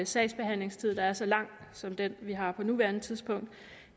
sagsbehandlingstid der er så lang som den vi har på nuværende tidspunkt